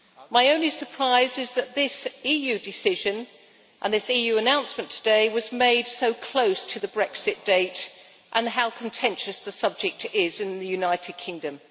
My only surprise is that this EU decision and this EU announcement today were made so close to the Brexit date, given how contentious the subject is in the United Kingdom.